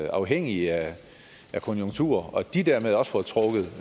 afhængige af konjunkturer og at de dermed også får trukket